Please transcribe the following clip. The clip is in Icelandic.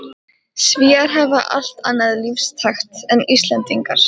Svíar hafa allt annan lífstakt en Íslendingar.